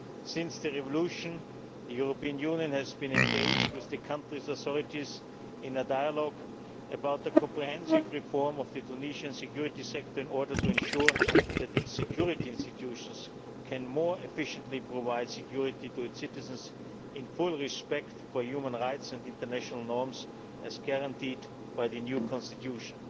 Since the revolution the European Union has been engaged with the country's authorities in a dialogue about a comprehensive reform of the Tunisian security sector in order to ensure that its security institutions can more efficiently provide security to its citizens, in full respect for human rights and international norms, as guaranteed by the new constitution.